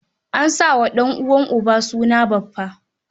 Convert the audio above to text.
An sa wa ɗan'uwan uba suna baffa.